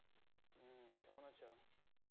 হম কেমন আছো?